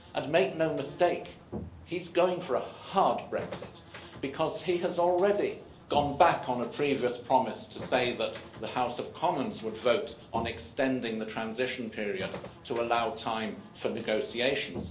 And make no mistake, he's going for a hard Brexit, because he has already gone back on a previous promise to say that the House of Commons would vote on extending the transition period to allow time for negotiations.